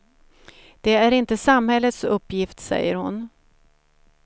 Det är inte samhällets uppgift, säger hon.